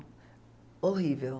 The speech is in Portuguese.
Horrível.